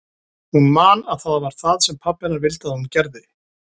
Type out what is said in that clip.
Hún man að það var það sem pabbi hennar vildi að hún gerði.